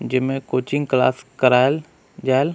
जेमे coaching class कराईल जाएल--